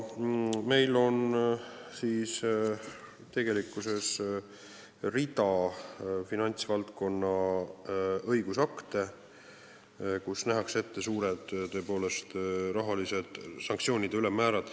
Meil on hulk finantsvaldkonna õigusakte, kus nähakse tõepoolest ette rahaliste sanktsioonide kõrged ülemmäärad.